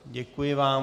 Děkuji vám.